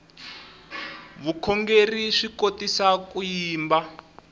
vukhongerhi swi kotisa ku yimba